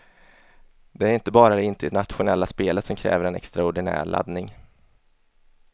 Det är inte bara det internationella spelet som kräver en extraordinär laddning.